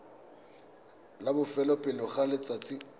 la bofelo pele ga letsatsi